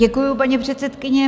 Děkuji, paní předsedkyně.